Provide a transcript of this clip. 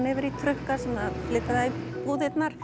yfir í trukka sem flytja það í búðirnar